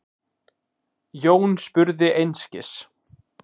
Jón spurði einskis.